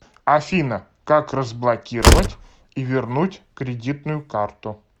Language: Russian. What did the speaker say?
афина как разблокировать и вернуть кредитную карту